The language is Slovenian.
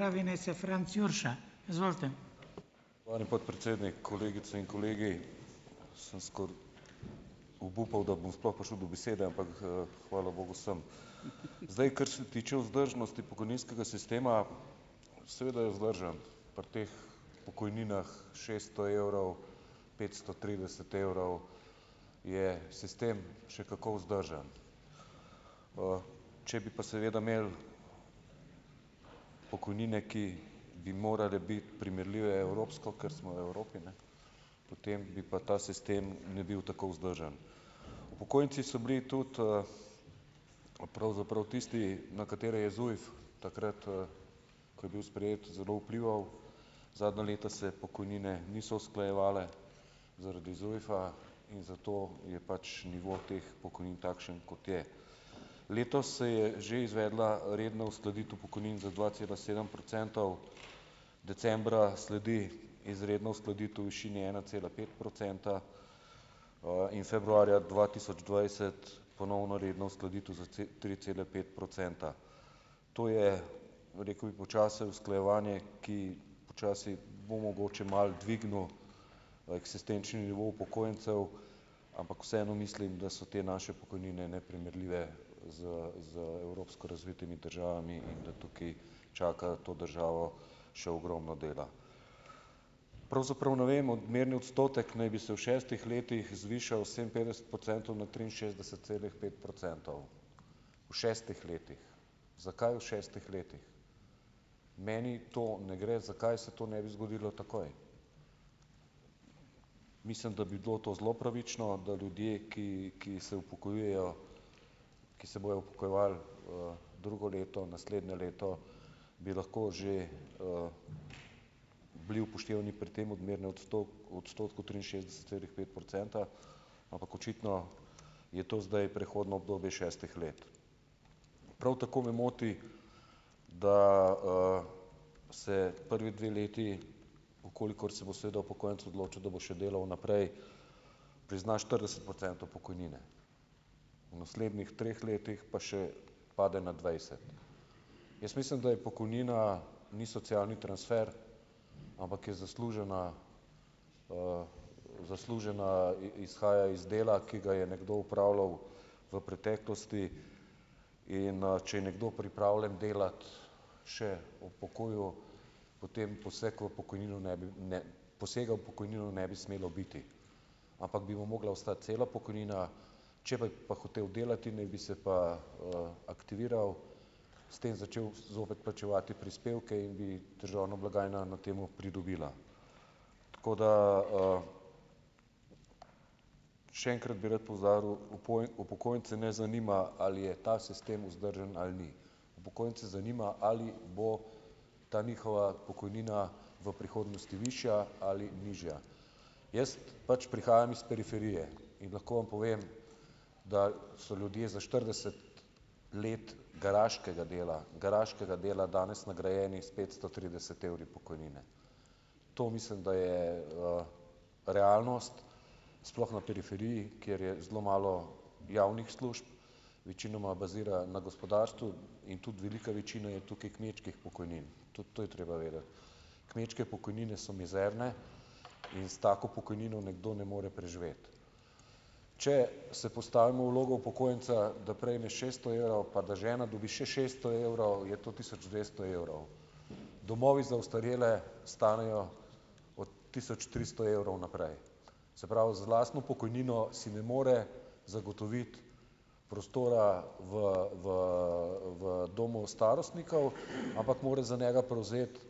Hvala, podpredsednik, kolegice in kolegi Sem skoraj obupal, da bom sploh prišel do besede, ampak, hvala bogu sem, zdaj, kar se tiče vzdržnosti pokojninskega sistema, seveda je vzdržen pri teh pokojninah šeststo evrov, petsto trideset evrov je sistem še kako vzdržen, če bi pa seveda imeli pokojnine, ki bi morale biti primerljive v evropsko, ker smo v Evropi, ne, potem bi pa ta sistem ne bil tako vzdržen, upokojenci so bili tudi, pravzaprav tisti, na katere je ZUJF takrat, ko je bil sprejet, zelo vplival. Zadnja leta se pokojnine niso usklajevale zaradi ZUJF-a in zato je pač nivo teh pokojnin takšen, kot je, letos se je že izvedla redna uskladitev pokojnin za dva cela sedem procentov, decembra sledi izredna uskladitev v višini ena cela pet procenta, in februarja dva tisoč dvajset ponovna redna uskladitev za tri cele pet procenta, to je, rekel bi, počasi usklajevanje, ki počasi bo mogoče malo dvignilo eksistenčni nivo upokojencev, ampak vseeno mislim, da so te naše pokojnine neprimerljive z z evropsko razvitimi državami in da tukaj čaka to državo še ogromno dela. Pravzaprav ne vem, odmerni odstotek naj bi se v šestih letih zvišal sedeminpetdeset procentov na triinšestdeset celih pet procentov v šestih letih. Zakaj v šestih letih? Meni to ne gre, zakaj se to ne bi zgodilo takoj, mislim, da bi bilo to zelo pravično, da ljudje, ki, ki se upokojujejo, ki se bojo upokojevali, drugo leto, naslednje leto bi lahko že, bili upoštevani pri tem odmernem odstotku triinšestdeset celih pet procenta, ampak očitno je to zdaj prehodno obdobje šestih let, prav tako me moti, da, se prvi dve leti v kolikor se bo seveda upokojenec odločil, da bo še delal naprej, prizna štirideset procentov pokojnine, naslednjih treh letih pa še pade na dvajset, jaz mislim, da je pokojnina, ni socialni transfer, ampak je zaslužena, zaslužena, izhaja iz dela, ki ga je nekdo opravljal v preteklosti, in, če je nekdo pripravljen delati še v pokoju, potem poseg v pokojnino ne bi, ne, posega v pokojnino ne bi smelo biti, ampak bi mu mogla ostati cela pokojnina, če bi pa hotel delati, naj bi se pa, aktiviral, s tem začel zopet plačevati prispevke in bi državna blagajna na tem pridobila, tako da, še enkrat bi rad poudaril, upokojence ne zanima, ali je ta sistem vzdržen ali ni, upokojence zanima, ali bo ta njihova pokojnina v prihodnosti višja ali nižja, jaz pač prihajam iz periferije in lahko vam povem, da so ljudje za štirideset let garaškega dela, garaškega dela danes nagrajeni s petsto trideset evri pokojnine, to mislim, da je, realnost sploh na periferiji, kjer je zelo malo javnih služb, večinoma bazira na gospodarstvu in tudi velika večina je tukaj kmečkih pokojnin, tudi to je treba vedeti, kmečke pokojnine so mizerne in s tako pokojnino nekdo ne more preživeti, če se postavimo v vlogo upokojenca, da prejme šeststo evrov pa da žena dobi še šeststo evrov je to tisoč dvesto evrov, domovi za ostarele stanejo od tisoč tristo evrov naprej, se pravi, z lastno pokojnino si ne more zagotoviti prostora v v v domu starostnikov, ampak mora za njega prevzeti,